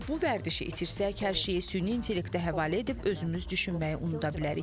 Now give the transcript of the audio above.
Əgər bu vərdişi itirsək, hər şeyi süni intellektə həvalə edib özümüz düşünməyi unuda bilərik.